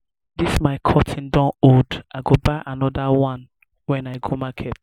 dis my curtain don old i go buy another one wen i go market